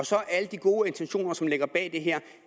så alle de gode intentioner som ligger bag det her